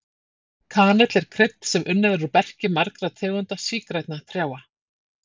Kanill er krydd sem unnið er úr berki margra tegunda sígrænna trjáa.